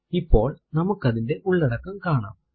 ഇപ്പോൾ നമുക്ക് അതിന്റെ ഉള്ളടക്കം കാണാം